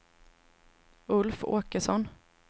Ulf Åkesson